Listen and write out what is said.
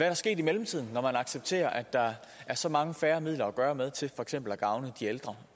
der sket i mellemtiden når man nu accepterer at der er så meget færre midler at gøre godt med til for eksempel at gavne de ældre